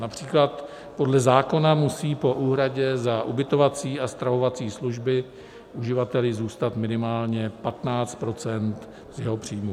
Například podle zákona musí po úhradě za ubytovací a stravovací služby uživateli zůstat minimálně 15 % z jeho příjmu.